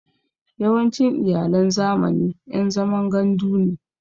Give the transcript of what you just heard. Yawancin Iyalan zamani ƴan zaman gandu ne